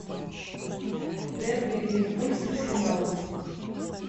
дерби ливерпуль с арсеналом